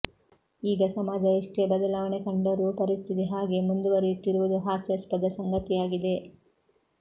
ಈಗ ಸಮಾಜ ಎಷ್ಟೇ ಬದಲಾವಣೆ ಕಂಡರೂ ಪರಿಸ್ಥಿತಿ ಹಾಗೇ ಮುಂದುವರಿಯುತ್ತಿರುವುದು ಹಾಸ್ಯಾಸ್ಪದ ಸಂಗತಿಯಾಗಿದೆ